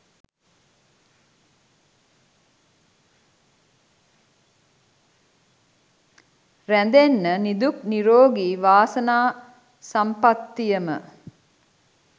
රැඳෙන්න නිදුක් නීරෝගී වාසනා සම්පත්තියම